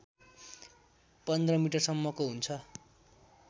१५ मिटरसम्मको हुन्छ